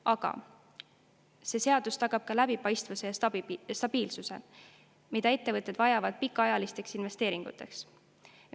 Aga see seadus tagab ka läbipaistvuse ja stabiilsuse, mida ettevõtted vajavad pikaajaliste investeeringute tegemiseks.